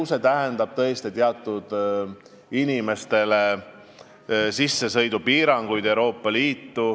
Ju see tähendab teatud inimestele Euroopa Liitu sissesõidu piiranguid.